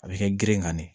A bɛ kɛ geren ka ne ye